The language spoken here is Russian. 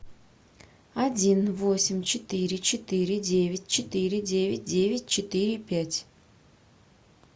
один восемь четыре четыре девять четыре девять девять четыре пять